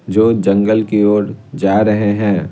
जो जंगल की ओर जा रहे हैं।